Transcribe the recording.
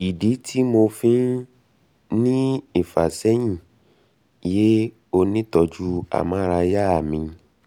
ìdí um tí mo um fi ń ní ìfàsẹ́yìn ̀ yé onítọ̀ọ́jú amárayá mi